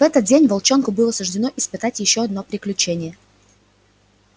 в этот день волчонку было суждено испытать ещё одно приключение